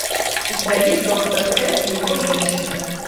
у тебя есть доктор т и его женщины